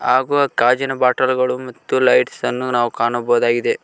ಹಾಗು ಅದ್ ಗಾಜಿನ ಬಾಟಲುಗಳು ಮತ್ತು ಲೈಟ್ಸ್ ಅನ್ನು ನಾವು ಕಾಣಬಹುದಾಗಿದೆ.